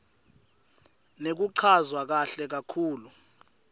nekuchazwa kahle kakhulu